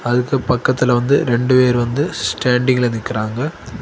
அதுக்கு பக்கத்துல வந்து ரெண்டு பேர் வந்து ஸ்டாண்டிங்ல நிக்குறாங்க.